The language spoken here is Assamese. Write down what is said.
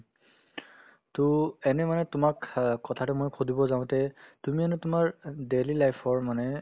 to এনে মানে তোমাক আ কথা এটা মই সুধিব যাওঁতে তুমি হেনু তোমাৰ daily life ৰ মানে